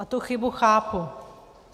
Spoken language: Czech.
A tu chybu chápu.